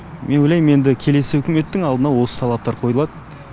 мен ойлаймын енді келесі үкіметтің алдына осы талаптар қойылады